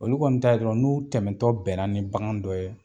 Olu kɔni ta ye dɔrɔnw n'u tɛmɛtɔ bɛnna ni bagan dɔ ye